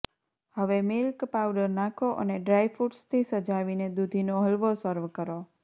હવે milk powder નાખો અને ડ્રાયફૂટ્સથી સજાવીને દૂધીનો હલવો સર્વ કરો